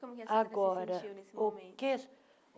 Como que agora a senhora se sentiu nesse momento?